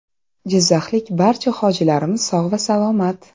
Jizzaxlik barcha hojilarimiz sog‘ va salomat.